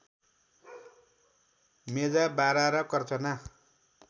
मेजा बारा र कर्चना